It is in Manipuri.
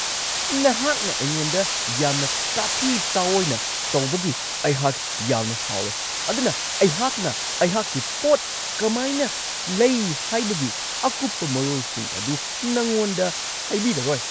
ꯅꯍꯥꯛꯅ ꯑꯩꯉꯣꯟꯗ ꯌꯥꯝꯅ ꯇꯥꯊꯤ-ꯇꯥꯋꯣꯏꯅ ꯇꯧꯕꯒꯤ ꯑꯩꯍꯥꯛ ꯌꯥꯝꯅ ꯁꯥꯎꯔꯦ ꯑꯗꯨꯅ ꯑꯩꯍꯥꯛꯅ ꯑꯩꯍꯥꯛꯀꯤ ꯄꯣꯠ ꯀꯃꯥꯏꯅ ꯂꯩ ꯍꯥꯏꯕꯒꯤ ꯑꯀꯨꯞꯄ ꯃꯔꯣꯜꯁꯤꯡ ꯑꯗꯨ ꯅꯉꯣꯟꯗ ꯍꯥꯏꯕꯤꯔꯔꯣꯏ ꯫